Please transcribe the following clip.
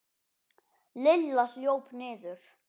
Lilla hljóp niður.